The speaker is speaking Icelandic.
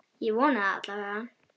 Ég vona það alla vega.